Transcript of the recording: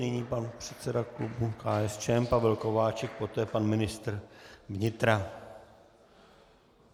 Nyní pan předseda klubu KSČM Pavel Kováčik, poté pan ministr vnitra.